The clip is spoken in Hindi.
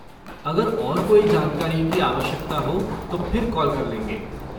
अगर और कोई जानकारी की आवश्यकता हो तो फिर कॉल कर लेंगे।